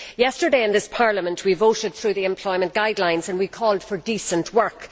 Yesterday in this Parliament we voted through the employment guidelines and we called for decent work.